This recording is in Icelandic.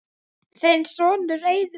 Þinn sonur, Eiður.